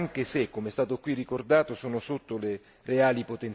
di questi anni anche se, come è stato qui ricordato, sono